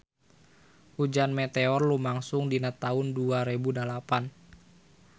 Hujan meteor lumangsung dina taun dua rebu dalapan